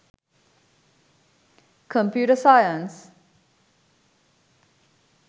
computer science